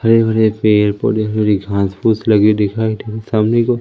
हरे भरे पेड़ पौधे हरी घास फूस लगी दिखाई दे सामने को--